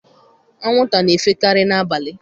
Anwụnta na-efe karị n'abalị.